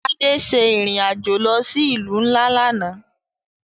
Ade ṣe irin ajo lo si ilu nla làná.